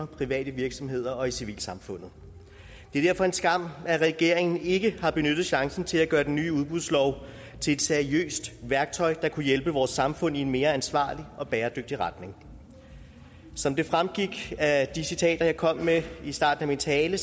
private virksomheder og i civilsamfundet det er derfor en skam at regeringen ikke har benyttet chancen til at gøre den nye udbudslov til et seriøst værktøj der kunne hjælpe vores samfund i en mere ansvarlig og bæredygtig retning som det fremgik af de citater jeg kom med i starten af min tale